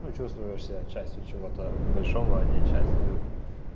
ну чувствуешь себя частью чего-то большого а не частью